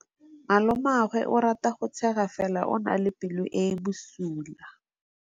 Malomagwe o rata go tshega fela o na le pelo e e bosula.